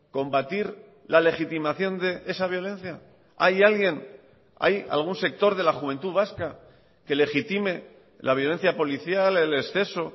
combatir la legitimación de esa violencia hay alguien hay algún sector de la juventud vasca que legitime la violencia policial el exceso